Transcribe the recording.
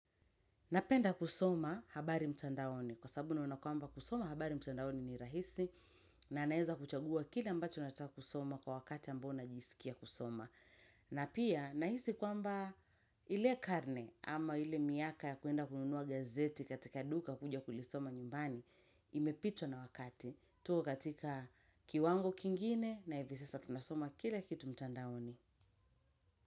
Napenda kusoma habari mtandaoni kwa sababu naona kwamba kusoma habari mtandaoni ni rahisi na naweza kuchagua kile ambacho nataka kusoma kwa wakati ambao najisikia kusoma. Na pia nahisi kwamba ile karne ama ile miaka ya kwenda kununua gazeti katika duka kuja kulisoma nyumbani imepitwa na wakati tuko katika kiwango kingine na hivi sasa tunasoma kila kitu mtandaoni.